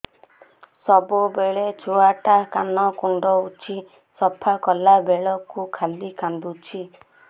ସବୁବେଳେ ଛୁଆ ଟା କାନ କୁଣ୍ଡଉଚି ସଫା କଲା ବେଳକୁ ଖାଲି କାନ୍ଦୁଚି